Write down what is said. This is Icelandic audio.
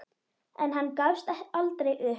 En hann gafst aldrei upp.